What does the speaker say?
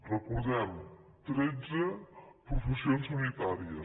re·cordem·ho tretze professions sanitàries